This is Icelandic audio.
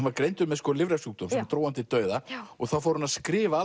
var greindur með lifrarsjúkdóm sem dró hann til dauða og þá fór hann að skrifa